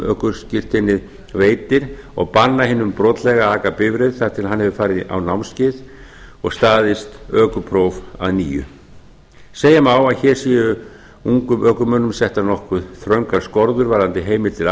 ökuskírteinið veitir og banna hinum brotlega að aka bifreið þar til hann hefur farið á námskeið og staðist ökupróf að engu segja má að hér sé ungum ökumönnum settar nokkuð þröngar skorður varðandi heimild